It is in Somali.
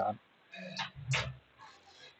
galiyo.